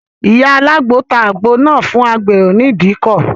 Ìyá alágbo náà ta àgbo fún agbèrò ní ìdíkọ̀.